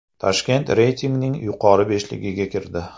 Toshkent reytingning yuqori beshligiga kirdi.